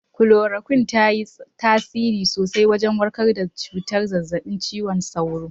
Kolorokwin ta yi tasiri sosai wajen warkar da cutar zazzabin cizon sauro